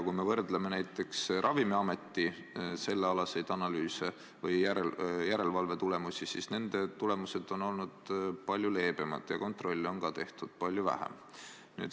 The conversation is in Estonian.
Kui me võrdleme näiteks Ravimiameti sellealaseid analüüse või järelevalve tulemusi, siis nende tulemused on olnud palju leebemad ja kontrolle on ka tehtud palju vähem.